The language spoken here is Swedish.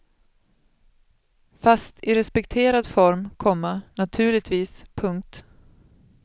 Fast i respekterad form, komma naturligtvis. punkt